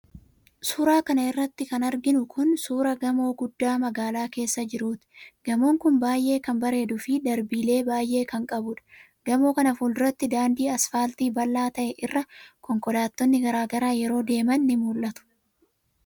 Suura kana irratti kan arginu kun, suura gamoo guddaa magaalaa keessa jiruuti. Gamoon kun, baay'ee kan bareeduu fi darbiilee baay'ee kan qabuudha. Gamoo kana fuulduratti, daandii asfaaltii bal'aa ta'e irra, konkolaattonni garaa garaa yeroo deeman ni mul'atu.